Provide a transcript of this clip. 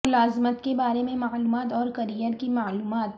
ملازمت کے بارے میں معلومات اور کیریئر کی معلومات